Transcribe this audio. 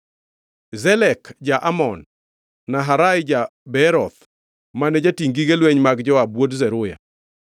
Zelek ja-Amon, Naharai ja-Beeroth mane jatingʼ gige lweny mag Joab wuod Zeruya,